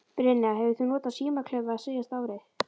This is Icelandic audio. Brynja: Hefur þú notað símaklefa síðasta árið?